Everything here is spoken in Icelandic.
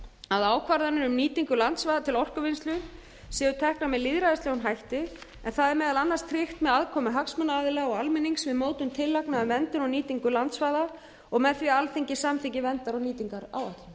að ákvarðanir um nýtingu landsvæða til orkuvinnslu séu teknar með lýðræðislegum hætti en það er meðal annars tryggt með aðkomu hagsmunaaðila og almennings um mótun tillagna um verndun og nýtingu landsvæða og með því að alþingi samþykki verndar og nýtingaráætlun í frumvarpinu er